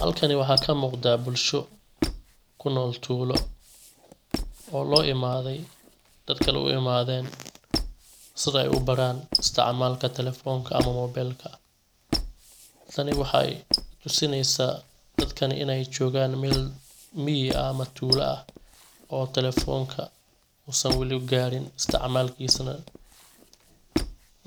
Halkani waxaa kamuqda bulsho kunool tuulo oo lo imaday dad kale u imadeen siday u baran isticmaalka telefonka ama mobelka. Tani waxay tusinaysa dadkan inay joogan mel miyi ah ama tuula ah oo telefonka uusan wali garin isticmaalkiisa.